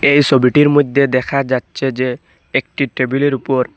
এই সবিটির মইধ্যে দেখা যাচ্ছে যে একটি টেবিলের উপর--